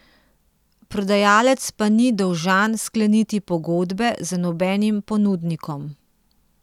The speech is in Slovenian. Prodajalec pa ni dolžan skleniti pogodbe z nobenim ponudnikom.